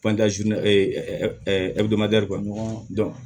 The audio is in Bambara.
ka ɲɔgɔn